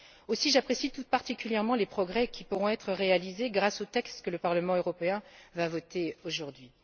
Aussi, j'apprécie tout particulièrement les progrès qui pourront être réalisés grâce au texte que le Parlement européen va voter aujourd'hui.